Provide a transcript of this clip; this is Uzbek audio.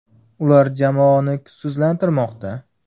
Ular jamoani kuchsizlantirmoqda.